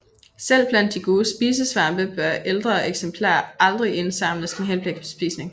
Selv blandt de gode spisesvampe bør ældre eksemplarer aldrig indsamles med henblik på spisning